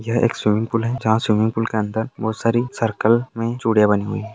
यह एक swimming pool है जहां स्विमिंग पूल के अंदर बहुत सारी सर्कल मे चूड़िया बनी हुई है।